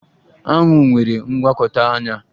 Aṅu nwere ngwakọta anya